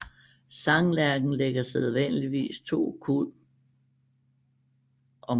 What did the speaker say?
Sanglærken lægger sædvanligvis to kuld om året